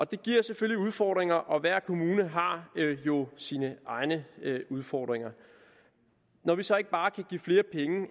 det giver selvfølgelig udfordringer og hver kommune har jo sine egne udfordringer når vi så ikke bare kan give flere penge